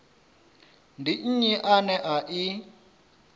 ndi nnyi ane a i